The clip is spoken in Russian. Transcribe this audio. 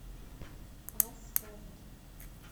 а спорт